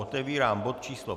Otevírám bod číslo